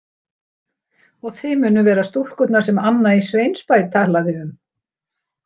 Og þið munuð vera stúlkurnar sem Anna í Sveinsbæ talaði um.